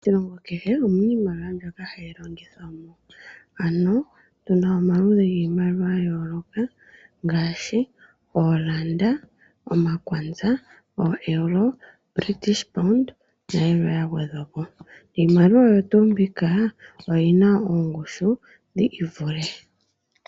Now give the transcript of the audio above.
Moshilongo kehe omuna iimaliwa mbyoka hayi longithwamo ano tuna omaludhi giimaliwa ya yoolokathana ngaashi ooranda, omakwanza, oo Euro British pound nayilweya gwedhwapo. Iimaliwa oyo tuu mbika oyina oongushu dhi ivule.